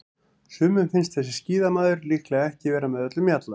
Sumum finnst þessi skíðamaður líklega ekki vera með öllum mjalla.